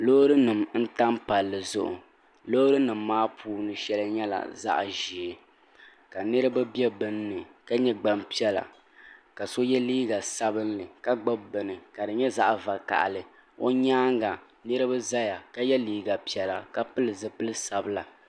loori nim n tam palli zuɣu loori nim maa puuni shɛli nyɛla zaɣ ʒiɛ ka niraba bɛ binni ka nyɛ gbanpiɛla ka so yɛ liiga sabinli ka gbubi bini ka di nyɛ zaɣ vakaɣali o nyaanga niraba ʒɛya ka yɛ liiga piɛla ka pili zipili sabila